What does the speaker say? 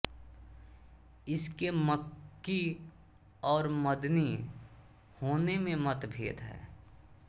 इसके मक्की और मदनी होने में मतभेद है